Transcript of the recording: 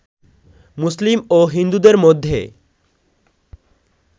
মুসলিম ও হিন্দুদের মধ্যে